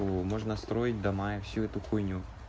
у можно строить до мая всю эту хуйню